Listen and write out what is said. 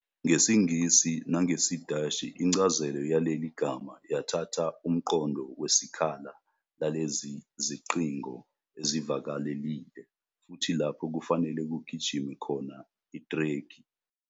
NgesiNgisi nangesiDashi, incazelo yaleli gama yathatha umqondo wesikhala lalezi zicingo ezivalekile, futhi lapho kufanele kugijime khona ithrekhi.